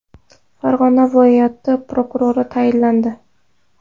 Farg‘ona viloyati prokurori tayinlandi.